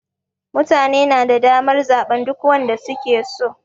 Mutane na da damar zaɓen duk wanda su ke so.